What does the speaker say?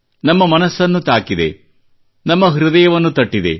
ನಮ್ಮ ಮನಸ್ಸನ್ನು ತಾಕಿದೆ ನಮ್ಮ ಹೃದಯವನ್ನು ತಟ್ಟಿದೆ